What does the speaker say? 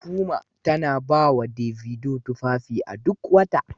Puma tana ba wa Davido tufafi duk wata